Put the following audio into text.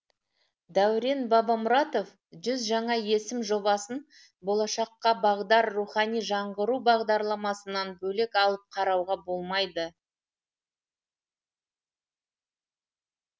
дәурен бабамұратов жүз жаңа есім жобасын болашаққа бағдар рухани жаңғыру бағдарламасынан бөлек алып қарауға болмайды